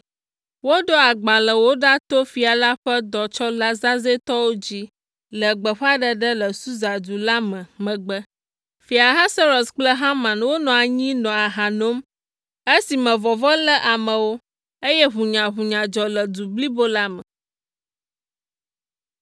Woɖo agbalẽwo ɖa to fia la ƒe dɔtsɔla zazɛ̃tɔwo dzi le gbeƒãɖeɖe le Susa du la me megbe. Fia Ahasuerus kple Haman wonɔ anyi nɔ aha nom esime vɔvɔ̃ lé amewo, eye ʋunyaʋunya dzɔ le du blibo la me.